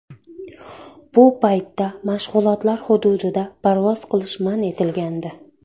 Bu paytda mashg‘ulotlar hududida parvoz qilish man etilgandi.